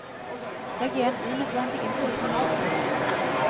Legg igjen unødvendig innpakning i butikken.